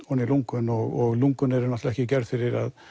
ofan í lungun og lungun eru náttúrulega ekki gerð fyrir að